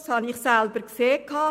Das habe ich selber gesehen.